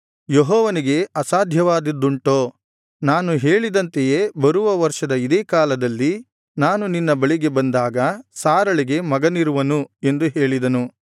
ಯೆಹೋವನಿಗೆ ಅಸಾಧ್ಯವಾದದ್ದುಂಟೋ ನಾನು ಹೇಳಿದಂತೆಯೇ ಬರುವ ವರ್ಷದ ಇದೇ ಕಾಲದಲ್ಲಿ ನಾನು ನಿನ್ನ ಬಳಿಗೆ ಬಂದಾಗ ಸಾರಳಿಗೆ ಮಗನಿರುವನು ಎಂದು ಹೇಳಿದನು